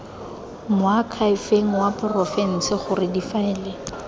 moakhaefeng wa porofense gore difaele